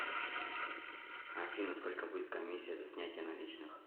афина сколько будет коммисия за снятие наличных